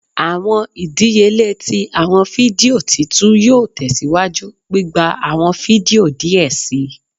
Awọn idiyele ti awọn fidio titu yoo tẹsiwaju gbigba awọn fidio diẹ sii